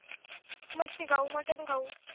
मच्छी खाऊ मटण खाऊ